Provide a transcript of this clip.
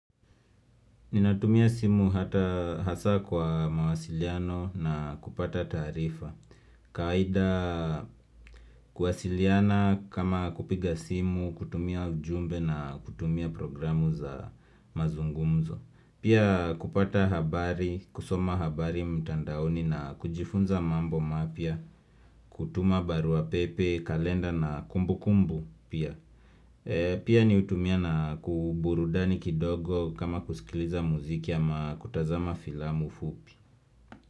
Ninatumia simu hata hasa kwa mawasiliano na kupata taarifa kawaida kuwasiliana kama kupiga simu, kutumia ujumbe na kutumia programu za mazungumzo Pia kupata habari, kusoma habari mtandaoni na kujifunza mambo mapya kutuma baruapepe, kalenda na kumbu kumbu pia Pia mi hutumia na kwa burudani kidogo kama kusikiliza muziki ama kutazama filamu fupi.